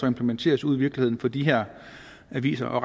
implementeres ude i virkeligheden for de her aviser og